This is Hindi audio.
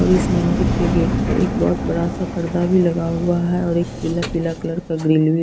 और इस मंदिर के गेट पे एक बहोत बड़ा सा पर्दा भी लगा हुआ है और एक पीला पीला कलर का ग्रिल भी।